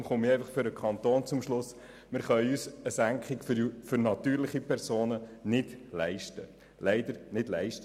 Deshalb komme ich für den Kanton zum Schluss, dass wir uns eine Senkung für natürliche Personen nicht leisten können, leider.